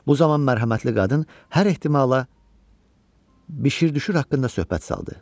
Bu zaman mərhəmətli qadın hər ehtimala bişir-düşür haqqında söhbət saldı.